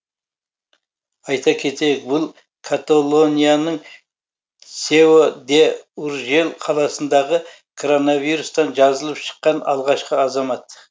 айта кетейік бұл каталонияның сео де уржель қаласындағы коронавирустан жазылып шыққан алғашқы азамат